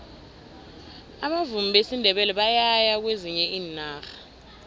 abavumi besindebele bayaya kwezinye iinarha